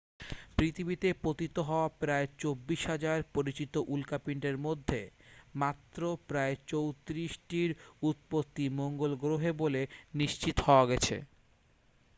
পৃথিবীতে পতিত হওয়া প্রায় 24,000 পরিচিত উল্কাপিণ্ডের মধ্যে মাত্র প্রায় 34 টির উৎপত্তি মঙ্গল গ্রহে বলে নিশ্চিত হওয়া গেছে